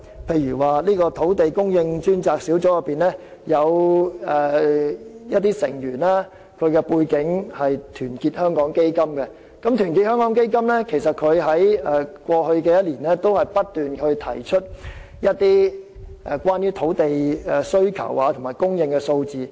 例如，土地供應專責小組的部分成員來自團結香港基金，而後者在過去1年亦曾不斷提出一些有關土地需求和供應的數字。